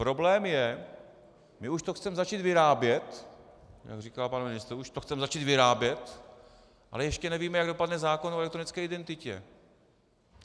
Problém je, my už to chceme začít vyrábět, jak říkal pan ministr, už to chceme začít vyrábět, ale ještě nevíme, jak dopadne zákon o elektronické identitě.